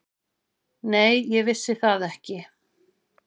Nei, ég vissi það ekki.